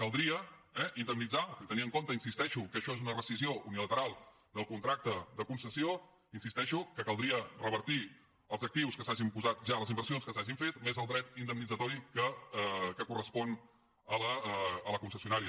caldria eh indemnitzar tenint en compte hi insisteixo que això és una rescissió unilateral del contracte de concessió insisteixo que caldria revertir els actius que s’hagin posat ja les inversions que s’hagin fet més el dret indemnitzatori que correspon a la concessionària